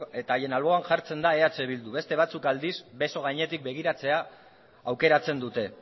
eta haien alboan jartzen da eh bildu beste batzuk aldiz beso gainetik begiratzea aukeratzen dute